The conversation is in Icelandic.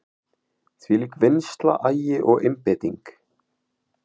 Þvílík vinnsla, agi og einbeiting.